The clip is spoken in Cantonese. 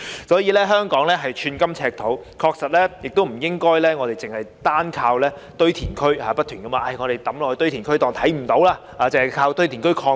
所以，香港寸金尺土，確實不應該單靠堆填區，把廢物不斷地丟進堆填區當作看不見，又或單靠堆填區擴建。